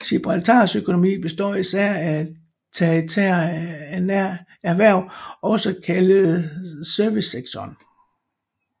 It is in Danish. Gibraltars økonomi består især af tertiære erhverv også kaldet servicesektoren